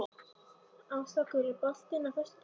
Áslákur, er bolti á föstudaginn?